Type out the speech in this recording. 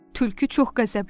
Tülkü çox qəzəbləndi